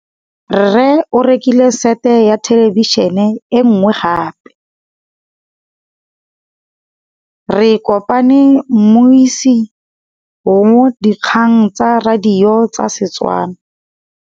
Rre o rekile sete ya thêlêbišênê e nngwe gape. Ke kopane mmuisi w dikgang tsa radio tsa Setswana.